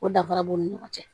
O danfara b'u ni ɲɔgɔn cɛ